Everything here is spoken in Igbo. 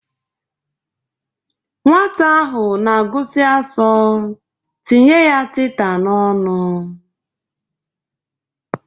Nwata ahụ na-agụsi asọ, tinye ya tita n'ọnụ!